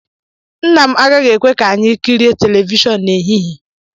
Nna m agaghị ekwe ka anyị kirie telivishọn n'ehihie